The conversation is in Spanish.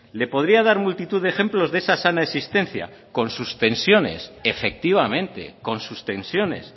le podría dar multitud de ejemplos de esa sana existencia con sus tensiones efectivamente con sus tensiones